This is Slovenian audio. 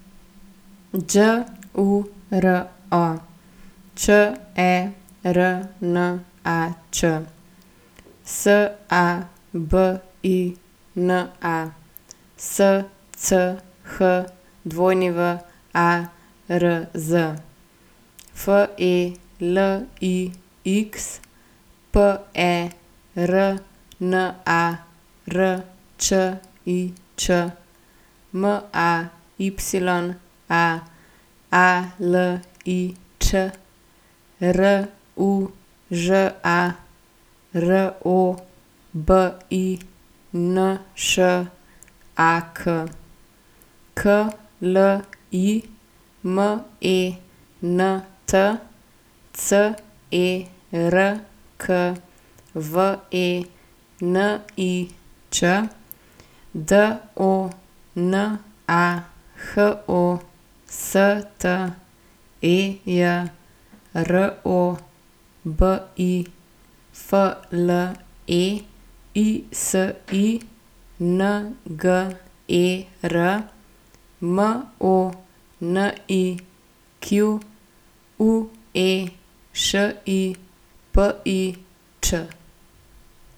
Đuro Černač, Sabina Schwarz, Felix Pernarčič, Maya Alić, Ruža Robinšak, Kliment Cerkvenič, Dona Hostej, Robi Fleisinger, Monique Šipić.